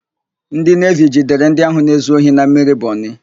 Ndị Nevi jidere ndị ahụ na-ezu ohi na mmiri Bọnị.